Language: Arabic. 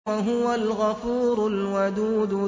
وَهُوَ الْغَفُورُ الْوَدُودُ